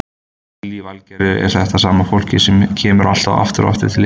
Lillý Valgerður: Er þetta sama fólkið sem kemur alltaf aftur og aftur til ykkar?